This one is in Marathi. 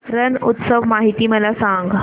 रण उत्सव माहिती मला सांग